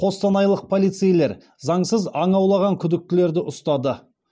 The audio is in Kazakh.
қостанайлық полицейлер заңсыз аң аулаған күдіктілерді ұстады